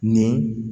Nin